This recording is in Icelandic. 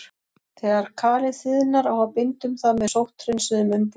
Þegar kalið þiðnar á að binda um það með sótthreinsuðum umbúðum.